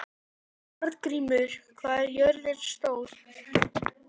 Arngrímur, hvað er jörðin stór?